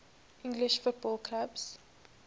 english football clubs